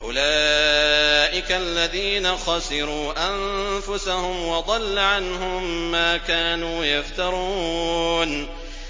أُولَٰئِكَ الَّذِينَ خَسِرُوا أَنفُسَهُمْ وَضَلَّ عَنْهُم مَّا كَانُوا يَفْتَرُونَ